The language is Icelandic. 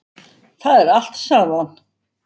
Það er allt, sagði hann.